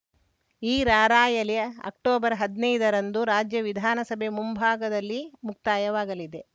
ಈ ರಾರ‍ಯಲಿ ಅಕ್ಟೊಬರ್ಹದ್ನಾಯ್ದರಂದು ರಾಜ್ಯ ವಿಧಾನಸಭೆ ಮುಂಭಾಗದಲ್ಲಿ ಮುಕ್ತಾಯವಾಗಲಿದೆ